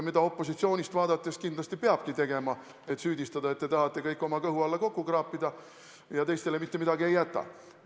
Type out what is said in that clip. Kindlasti ta peabki meid süüdistama, et te tahate kõik oma kõhu alla kokku kraapida ja teistele mitte midagi ei jäta.